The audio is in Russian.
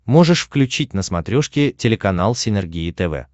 можешь включить на смотрешке телеканал синергия тв